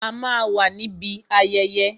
A máa wà níbi ayẹyẹ